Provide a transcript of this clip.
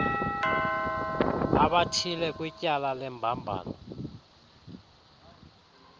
abathile kwityala lembambano